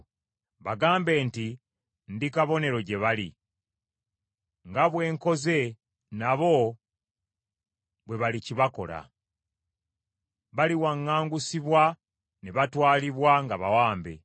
Bagambe nti, ‘Ndi kabonero gye muli.’ “Nga bwe nkoze, nabo bwe balikibakola. Baliwaŋŋangusibwa ne batwalibwa nga bawambe.